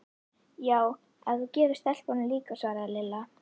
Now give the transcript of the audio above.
Já, ef þú gefur stelpunum líka svaraði Lilla.